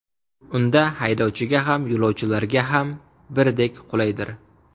Unda haydovchiga ham, yo‘lovchilarga ham birdek qulaydir.